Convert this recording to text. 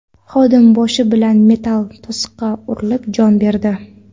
Xodim boshi bilan metall to‘siqqa urilib, jon berdi.